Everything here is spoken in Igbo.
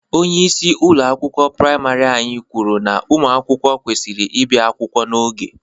Onyeisi ụlọ akwụkwọ priamarị anyị kwuru na ụmụ akwụkwọ kwesịrị ịbịa akwụkwọ n'oge.